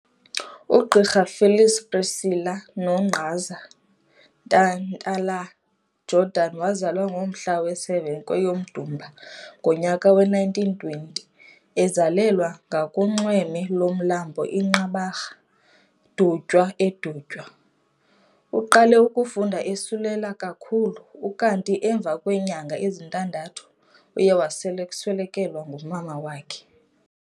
UGqirha Phyllis Priscilla 'Nogqaza' Ntantala-Jordan wazalwa ngomhla we-7, kweyoMdumba ngonyaka we-1920, ezalelwa ngakunxweme lomlambo iNqabarha, Dutywa|eDutywa. Uqale ukufunda eselula kakhulu, ukanti emva kweenyanga ezintandathu uye waswelekelwa ngumama wakhe.